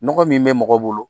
Nɔgɔ min bɛ mɔgɔ bolo